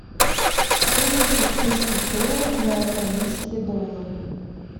стоимость австрийских долларов на австралийские доллары